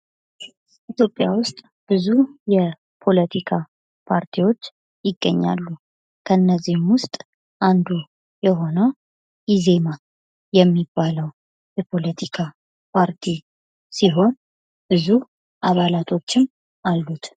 በኢትዮጵያ ውስጥ ብዙ የፖለቲካ ፓርቲዎች ይገኛሉ ። ከእነዚህም ውስጥ አንዱ የሆነው ኢዜማ የሚባለው የፖለቲካ ፓርቲ ሲሆን ብዙ አባላቶችም አሉት ።